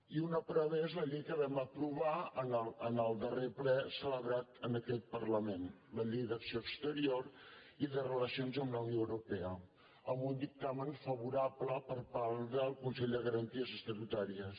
i una prova és la llei que vam aprovar en el darrer ple celebrat en aquest parlament la llei d’ac·ció exterior i de relacions amb la unió europea amb un dictamen favorable per part del consell de garan·ties estatutàries